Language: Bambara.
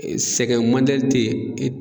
Sɛgɛn tɛ ye